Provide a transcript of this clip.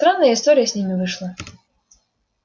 странная история с ними вышла